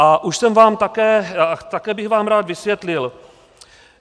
A už jsem vám také, také bych vám rád vysvětlil.